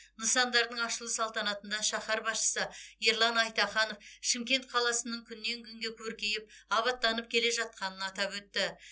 нысандардың ашылу салтанатында шаһар басшысы ерлан айтаханов шымкент қаласының күннен күнге көркейіп абаттанып келе жатқанын атап өтті